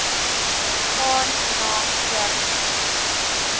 gaan na jou